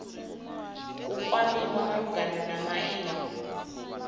u kwamiwa malugana na maimo